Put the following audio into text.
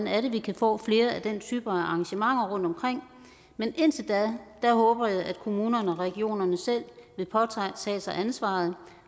er vi kan få flere af den type af arrangementer rundtomkring men indtil da håber jeg at kommunerne og regionerne selv vil påtage sig ansvaret